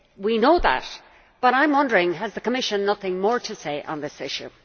We know that, but I am wondering, has the Commission nothing more to say on this issue?